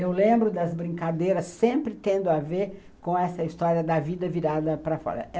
Eu lembro das brincadeiras sempre tendo a ver com essa história da vida virada para fora.